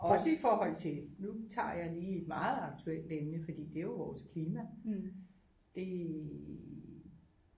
Også i forhold til nu tager jeg lige et meget aktuelt emne fordi det er jo vores klima det